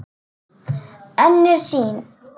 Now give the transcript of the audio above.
Önnur sýn